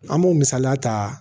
An m'o misaliya ta